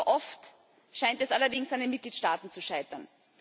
Wie so oft, scheint es allerdings an den Mitgliedstaaten zu scheitern.